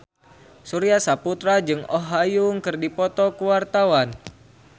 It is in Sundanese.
Surya Saputra jeung Oh Ha Young keur dipoto ku wartawan